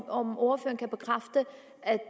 om ordføreren kan bekræfte at